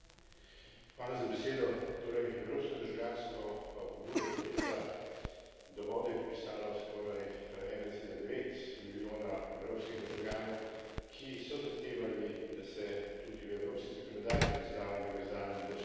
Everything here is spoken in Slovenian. Torej, evropsko državljansko pobudo Pravica do vode je podpisalo skoraj 1,9 milijona evropskih državljanov, ki so zahtevali, da se tudi v evropski zakonodaji prizna univerzalen dostop do vode.